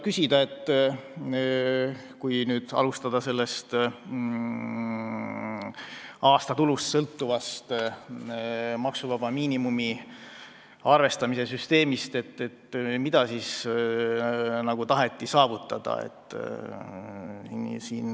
Kui alustada aastatulust sõltuvast maksuvaba miinimumi arvestamise süsteemist, siis tuleb kindlasti küsida, mida taheti saavutada.